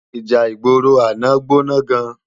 Íjá igbóró àná gbóná gán